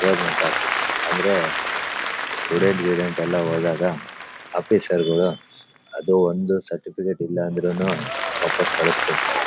Government office ಅಂದ್ರೆ student ಗಿಡೆನ್ಡ್ ಎಲ್ಲ ಹೋದಾಗ ಆಫೀಸರ್ ಗಳು ಅದು ಒಂದು ಸರ್ಟಿಫಿಕೇಟ್ ಇಲ್ಲ ಅಂದ್ರೂನು ವಾಪಾಸ್ ಕಳ್ಸಿರ್ತ್ತಾರೆ.